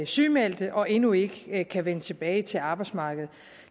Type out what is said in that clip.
sygemeldte og endnu ikke kan vende tilbage til arbejdsmarkedet